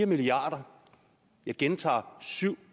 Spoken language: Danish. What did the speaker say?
milliard kr jeg gentager syv